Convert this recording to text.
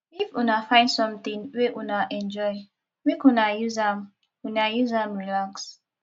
if una find sometin wey una enjoy make una use am una use am relax